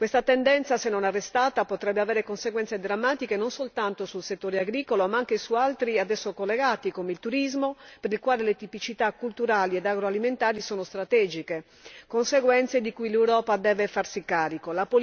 Questa tendenza, se non arrestata, potrebbe avere conseguenze drammatiche non soltanto sul settore agricolo, ma anche su altri settori ad esso collegati come il turismo, per i quali le tipicità culturali ed agroalimentari sono strategiche, conseguenze di cui l'Europa deve farsi carico.